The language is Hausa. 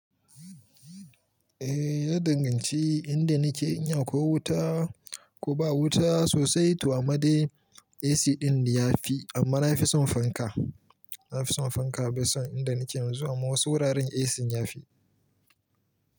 Eh ya danganci inda nake. Ina ko wuta ko ba wuta sosai, to a ma dai AC ɗin ya fi amma na fi son fanka. Na fi son fanka bai son inda nake zuwa ma wasu wuraren AC ya fi.